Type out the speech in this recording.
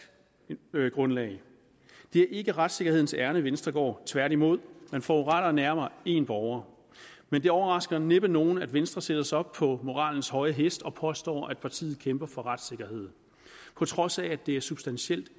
grundlag det er ikke retssikkerhedens ærinde venstre går tværtimod man foruretter nærmere en borger men det overrasker næppe nogen at venstre sætter sig op på moralens høje hest og påstår at partiet kæmper for retssikkerhed på trods af at det substantielt